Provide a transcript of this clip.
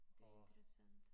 Det interessant